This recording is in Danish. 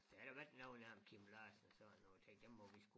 Der har noget når ham Kim Larsen og sådan noget tænkte der må vi sgu